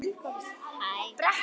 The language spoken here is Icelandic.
Eins og skó.